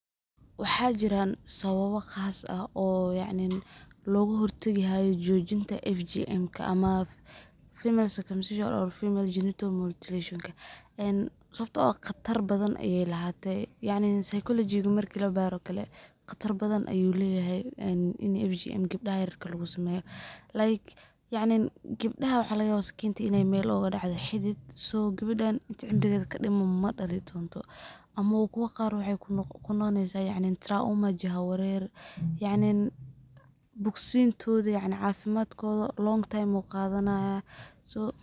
Waxaa jiran sababa qas logahortagi hayo jojinta FGM-ka ama female circumcision or female genital mutilation een sababto ah khatar badan ayey lahate, yacnin saykolojiga marki labaro oo kale khatar badhan ayuu leyahay een ini FGM gebdaha yaryarka ah lugusameyo. Like yacnin gebdaha waxaa lagayaba sakinta mel xun in ay ogadacdo xidid , so gewedan inti cimriged kadiman madali donto ama wa kuwa qar waxy kunoqoneysaah trauma jiha warer yacnin bogsintoda yacnin cafimadkoda long time ayuu qadanayaa.